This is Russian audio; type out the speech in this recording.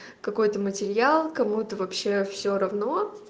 какой это материал кому это вообще все равно